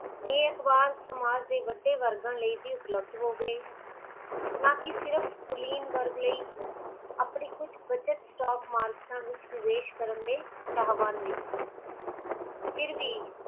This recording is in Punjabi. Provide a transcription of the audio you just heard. ਇਹ ਅਖਬਾਰ ਸਮਾਜ ਦੇ ਵੱਡੇ ਵਰਗਣ ਲਈ ਵੇ ਉਪਲਬਦ ਹੋ ਗੇ ਨਾਕਿ ਸਿਰਫ ਕੁਲੀਨ ਵਰਗ ਲਈ ਆਪਣੀ ਕੁਜ ਬੱਚਤ ਸਟੋਕ ਮਾਰਕੇਟਾਂ ਵਿਚ ਵਿਵੇਸ਼ ਕਰਨ ਦੇ ਚਾਹਵਾਨ ਵੀ ਹਨ ਫਿਰ ਵੀ